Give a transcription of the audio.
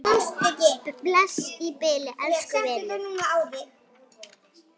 Bless í bili, elsku vinur.